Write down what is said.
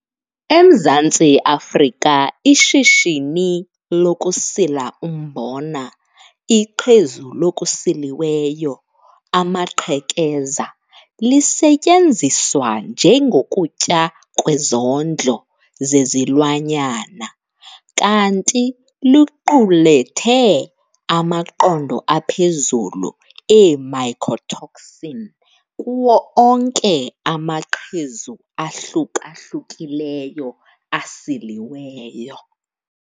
EMzantsi Afrika ishishini lokusila umbona, iqhezu lokusiliweyo "amaqhekeza" lisetyenziswa njengokutya kwezondlo zezilwanyana kanti liqulethe amaqondo aphezulu ee-mycotoxin kuwo onke amaqhezu ahluka-hlukileyo asiliweyo.